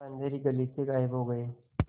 वह अँधेरी गली से गायब हो गए